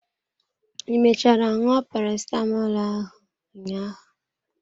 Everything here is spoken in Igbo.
I mechara ṅụọ parasitamọl ahụ ụnyaahụ?